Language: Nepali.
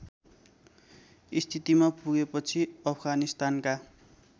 स्थितिमा पुगेपछि अफगानिस्तानका